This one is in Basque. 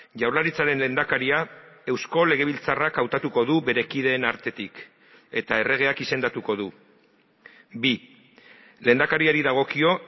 jaurlaritzaren lehendakaria eusko legebiltzarrak hautatuko du bere kideen artetik eta erregeak izendatuko du bi lehendakariari dagokio